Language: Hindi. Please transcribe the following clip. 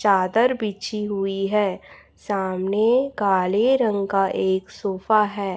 चादर बिछी हुई है सामने काले रंग का एक सोफा है।